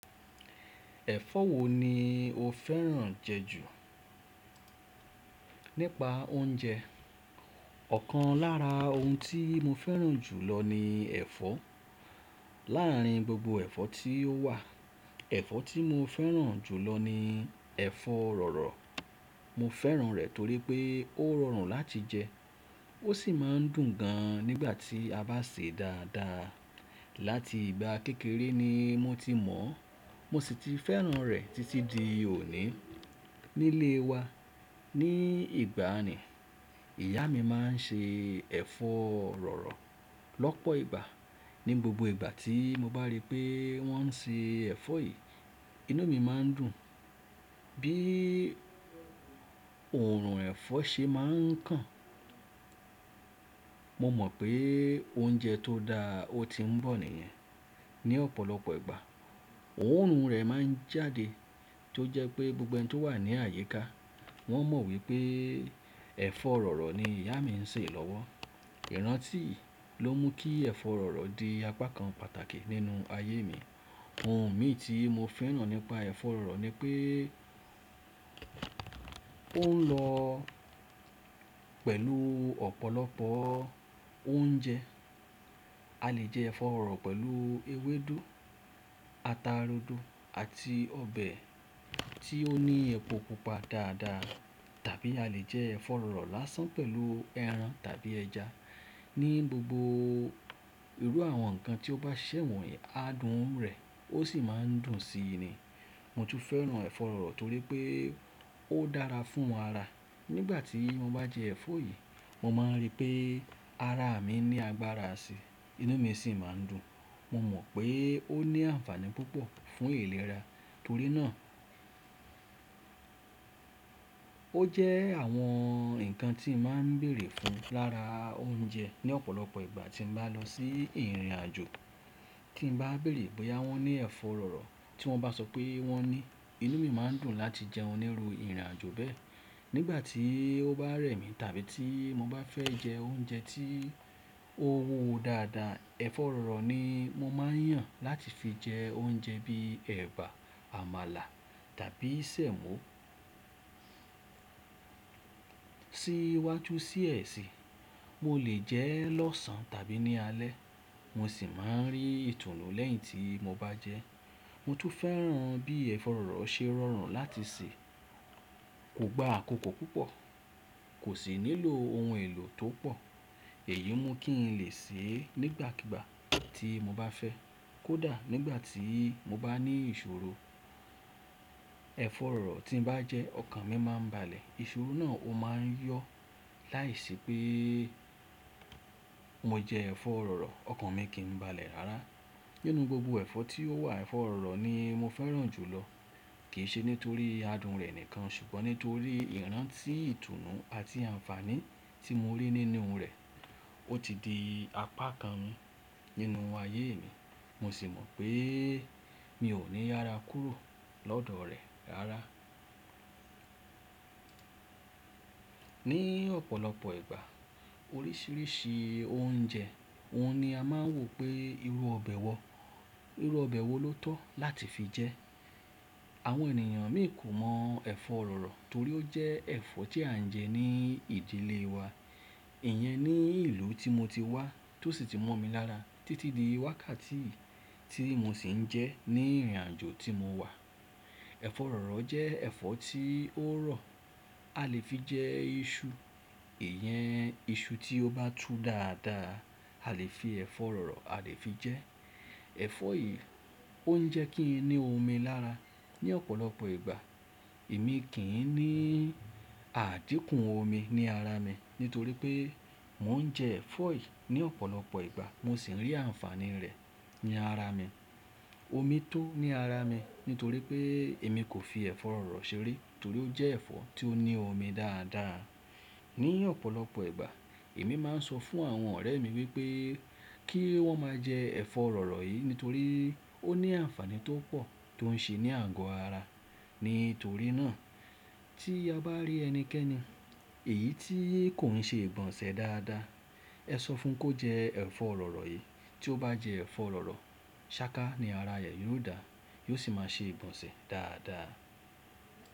Ẹ̀fọ́ wo ni o fẹ́ràn jẹ ju? Nípa oúnjẹ ọ̀kan lára ohun tí mo fẹ́ràn jù lọ ni ẹ̀fọ́. Láàárín gbogbo ẹ̀fọ́ tí ó wà, ẹ̀fọ́ tí mo fẹ́ràn jù lọ ni ẹ̀fọ́ rọ̀rọ̀. Mo fẹ́ràn rẹ̀ torí pé ó rọrùn láti jẹ, ó sì máa ń dùn gan nígbà tí a bá sè é dáadáa. Láti ìgbà kékeré ni mo ti mọ̀ ọ́n, mo sì ti fẹ́ràn rẹ̀ títí di òní. Nílé wa, ní ìgbàanì, ìyá mi máa ń ṣe ẹ̀fọ́ rọ̀rọ̀ lọ́pọ̀ ìgbà. Ní gbogbo ìgbà tí mo bá rí pé wọ́n ń ṣe ẹ̀fọ́ yìí, inú mi máa ń dùn. Bí òórùn ẹ̀fọ́ ṣe máa ń kan, mo mọ̀ pé oúnjẹ tó dáa ti ń bọ̀ nìyẹn. Ní ọ̀pọ̀lọpọ̀ ìgbà, òórùn rẹ̀ máa ń jáde, tó jẹ́ pé gbogbo ẹni tó wà ní àyiká, wọ́n mọ̀ wí pé ẹ̀fọ́ rọ̀rọ̀ ni ìyá mi ń sè lọ́wọ́. Ìrántí yii ló mú kí ẹ̀fọ́ rọ̀rọ̀ di apá kan pàtàkì nínú ayé mi. Ohun mí ti mó fẹ́ràn nípa ẹ̀fọ́ rọ̀rọ̀ ni pé ó ń lọ pẹ̀lú ọ̀pọ̀lọpọ̀ oúnjẹ. A lè jẹ ẹ̀fọ́ rọ̀rọ̀ pẹ̀lú ewédú, ata rodo, àti ọbẹ̀ tí ó ní epo pupa dáadáa. Tàbí a lè jẹ ẹ̀fọ́ rọ̀rọ̀ lásán pẹ̀lú ẹran tàbí ẹja. Ní gbogbo irú àwọn nǹkan tí ó bá ṣẹ̀wù, adùn rẹ̀ ó sì máa ń dùn síi ni. Mo tú fẹ́ràn ẹ̀fọ́ rọ̀rọ̀ torí pé ó dára fún ara. Nígbà tí mo bá jẹ ẹ̀fọ́ yìí, mo máa rí pé ara mi ní agbára síi, inú mi sì máa ń dùn. Mo mọ̀ pé ó ní àǹfàní púpọ̀ fún ìlera, torí náà ó jẹ́ àwọn nǹkan tí mo máa ń bèrè fún lára oúnjẹ ní ọ̀pọ̀lọpọ̀ ìgbà tí mo bá lọ sí ìrìn-àjò. Kí n bá bèrè ìbòyá wọ́n ní ẹ̀fọ́ rọ̀rọ̀, tí wọ́n bá sọ pé wọ́n ní í, inú mi máa dùn láti jẹ wọ́n nírú ìrìn-àjò bẹ́ẹ̀. Nígbà tí ó bá rẹ̀ mi tàbí tí mo bá fẹ́ jẹ oúnjẹ tí ó wuwo dáadáa, ẹ̀fọ́ rọ̀rọ̀ ni mo máa yàn láti fi jẹ oúnjẹ bíi ẹ̀bà, àmàlà tàbí ṣẹ́mú. Sí iwájú die sì, mo lè jẹ ẹ́ lọ́sàn tàbí ní alẹ́, mo sì máa ń rí ìtunù lẹ́yìn tí mo bá jẹ ẹ́. Mo tú fẹ́ràn bí ẹ̀fọ́ rọ̀rọ̀ ṣe rọrùn láti sè. Kò gba àkókò púpọ̀, kò sì nílò ohun èlò tó pọ̀. Èyí mú kí n lè sè é nígbàkígbà tí mo bá fẹ́, kódà nígbà tí mo bá ní ìṣòro. Ẹ̀fọ́ rọ̀rọ̀ tí mo bá jẹ ẹ́, ọkàn mi máa ń balè. Ìṣòro náà ó máa ń yọ láìṣẹ pé mo jẹ ẹ̀fọ́ rọ̀rọ̀, ọkàn mi kì í balẹ̀ rárá. Nínú gbogbo ẹ̀fọ́ tí ó wà, ẹ̀fọ́ rọ̀rọ̀ ni mo fẹ́ràn jù lọ. Kì í ṣe nítorí ì adùn rẹ̀ nìkan, ṣùgbọ́n nítorí ì ìrántí ìtunù àti àǹfàní tí mo rí nínú rẹ̀. Ó ti di apá kan mu, nínú ayé mi, mo sì mọ̀ pé mi ò ní yara kúrò lọ́dọ̀ rẹ̀ rárá. Ní ọ̀pọ̀lọpọ̀ ìgbà, oríṣiríṣi oúnjẹ, ohun ni a máa ń wò pé irú ọbẹ̀ wo, irú ọbẹ̀ wo ló tọ́ láti fi jẹ ẹ́. Àwọn ènìyàn mí kò mọ ẹ̀fọ́ rọ̀rọ̀ torí ó jẹ́ ẹ̀fọ́ tí à ń jẹ ní ìdílé wa. Ìyẹn ní ìlú tí mo ti wá, tó sì tí mọ̀ mi lára, títí di wákàtí yii, ti mo ṣì ń jẹ ẹ́ ní ìrìn-àjò tí mo wà. Ẹ̀fọ́ rọ̀rọ̀ jẹ́ ẹ̀fọ́ tí ó rọ̀, a lè fi jẹ iṣu. Ìyẹn iṣu tí ó bá tú dáadáa, a lè fi ẹ̀fọ́ rọ̀rọ̀, a lè fi jẹ ẹ́. Ẹ̀fọ́ yìí ó ń jẹ́ kí n ní omi lára ní ọ̀pọ̀lọpọ̀ ìgbà. Èmi kì í ní àdíkùn omi ní ara mi nítorí pé mò ń jẹ ẹ̀fọ́ yìí ní ọ̀pọ̀lọpọ̀ ìgbà. Mo sì ń rí àǹfàní rẹ̀ ní ara mi. Omi tó ní ara mi nítorí pé èmi kò fi ẹ̀fọ́ rọ̀rọ̀ ṣeré torí ó jẹ́ ẹ̀fọ́ tí ó ní omi dáadáa. Ní ọ̀pọ̀lọpọ̀ ìgbà, èmi máa ń sọ fún àwọn ọ̀rẹ́ mi pé kí wọ́n máa jẹ ẹ̀fọ́ rọ̀rọ̀ yìí nítorí ó ní àǹfàní tó pọ̀ tó ń ṣe ní àgó ara. Nítorí náà, tí a bá rí ẹnikẹ́ni, èyí tí kò ń ṣe ìgbọnṣẹ̀ dáadáa, ẹ sọ fún kó jẹ ẹ̀fọ́ rọ̀rọ̀ yìí. Tí ó bá jẹ ẹ̀fọ́ rọ̀rọ̀, ṣáká ni ara re yóò dá, yóò sì máa ṣe ìgbọnṣẹ̀ dáadáa.